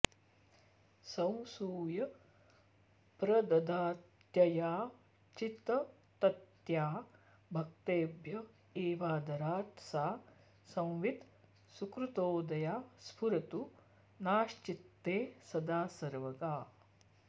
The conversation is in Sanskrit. संसूय प्रददात्ययाचिततत्या भक्तेभ्य एवादरात् सा संवित् सुकृतोदया स्फुरतु नश्चित्ते सदा सर्वगा